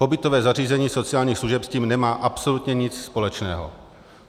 Pobytové zařízení sociálních služeb s tím nemá absolutně nic společného.